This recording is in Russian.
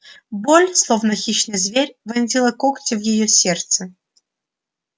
боль словно хищный зверь вонзила когти в её сердце